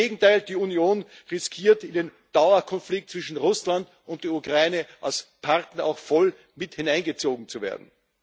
Im Gegenteil Die Union riskiert, in den Dauerkonflikt zwischen Russland und der Ukraine als Partner auch voll mit hineingezogen zu werden.